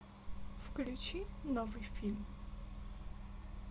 включи новый фильм